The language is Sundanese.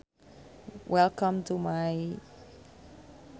Welcome to my.